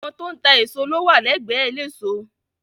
Àwọn tó ń ta èso ló wà lẹ́gbẹ́ eléso.